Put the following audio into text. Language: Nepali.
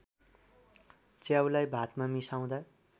च्याउलाई भातमा मिसाउँदा